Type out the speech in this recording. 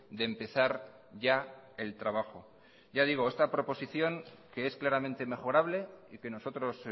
de empezar ya el trabajo ya digo esta proposición que es claramente mejorable y que nosotros